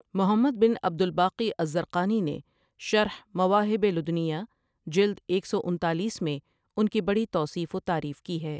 محمد بن عبدالباقی الزرقانی نے شرح مواہب لدینہ جلد ایک سو انتالیس میں ان کی بڑی توصیف و تعریف کی ہے ۔